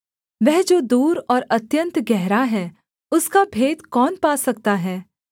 वह जो दूर और अत्यन्त गहरा है उसका भेद कौन पा सकता है